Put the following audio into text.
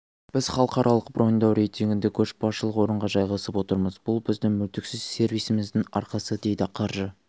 біз халықаралық броньдау рейтингінде көшбасшылық орынға жайғасып отырмыз бұл біздің мүлтіксіз сервисіміздің арқасы дейді қаржы